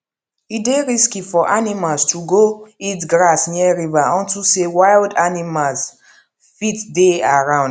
e dey risky for animals to go eat grass near river unto say wild animals fit dey around